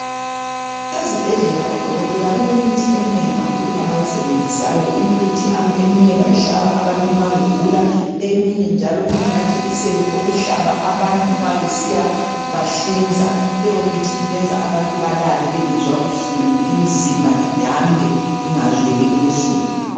Ezibhedlela odokotela balemithi eminengi kakhulu abayisebenzisayo Imithi eminye bayihlaba abantu nxa begula eminye njalo ingamajekiseni okuhlaba abantu nxa besiyabahlinza Leyo mithi ibenza abantu babale bengezwa buhlungu imizimba idambe ingazweli ubuhlungu